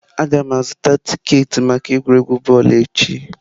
Aga m azụta tiketi maka egwuregwu bọọlụ echi.